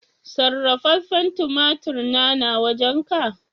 Sarrafafen tumatur na, na wajen ka?